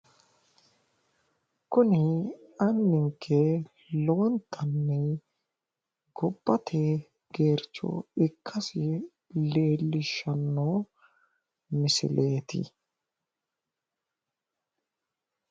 Kuni anninke lowontanni gobbate geercho ikkasi leellishshanno misileeti.